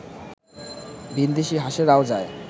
ভিনদেশী হাঁসেরাও যায়